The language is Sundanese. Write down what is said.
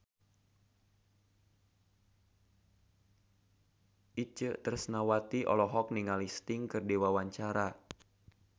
Itje Tresnawati olohok ningali Sting keur diwawancara